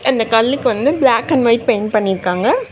அந்தக் கல்லுக்கு வந்து பிளாக் அண்ட் ஒயிட் பெயிண்ட் பண்ணிருக்காங்க.